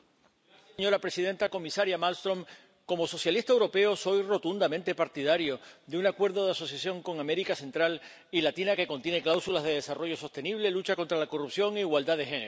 Señora presidenta, comisaria Malmström, como socialista europeo soy rotundamente partidario de un acuerdo de asociación con América Central y Latina que contiene cláusulas de desarrollo sostenible, lucha contra la corrupción e igualdad de género.